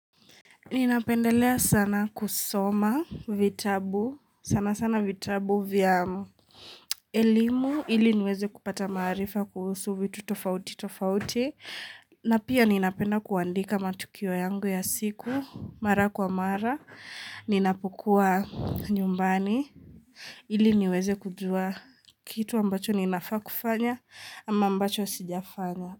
Ninapendelea sana kusoma vitabu, sana sana vitabu vya mmm eeee elimu, ili niweze kupata maarifa kuhusu vitu tofauti tofauti, na pia ninapenda kuandika matukio yangu ya siku, mara kwa mara, ninapokuwa nyumbani, ili niweze kujua kitu ambacho ninafaa kufanya ama ambacho sijafanya.